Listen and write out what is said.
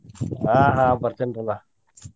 ಆಹ್ ಆಹ್ ಬರ್ತಿನ್ರಲಾ.